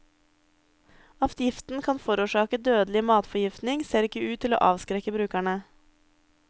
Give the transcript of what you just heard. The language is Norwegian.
At giften kan forårsake dødelig matforgiftning, ser ikke ut til å avskrekke brukerne.